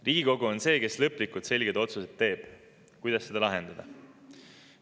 Riigikogu on see, kes teeb lõplikult selged otsused, kuidas seda lahendada.